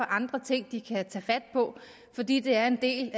andre ting de kan tage fat på fordi det er en del